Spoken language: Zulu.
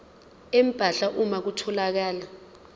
empahla uma kutholakala